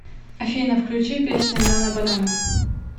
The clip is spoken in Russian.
афина включи песня нана банана